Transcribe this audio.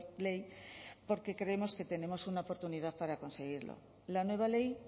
ley porque creemos que tenemos una oportunidad para conseguirlo la nueva ley